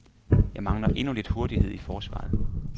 Jeg mangler endnu lidt hurtighed i forsvaret.